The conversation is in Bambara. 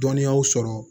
Dɔnniyaw sɔrɔ